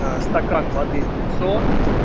а стакан воды в лицо